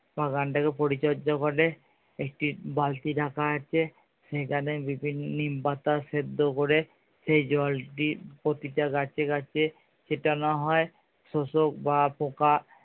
বাগানটাকে পরিচর্চা করে একটি বালতি রাখা আছে সেখানে নিম পাতা সেদ্ধ করে সেই জলটি প্রতিটি গাছে গাছে ছিটানো হয়। শোষক বা পোকা